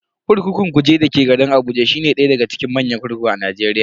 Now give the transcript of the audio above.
Kurkukun Kuje dake garin Abuja shine daya daga cikin manyan kurkuku a Najeriya.